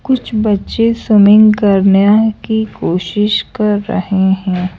कुछ बच्चे स्विमिंग करने की कोशिश कर रहे हैं।